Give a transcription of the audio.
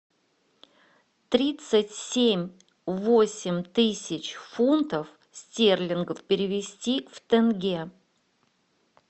тридцать семь восемь тысяч фунтов стерлингов перевести в тенге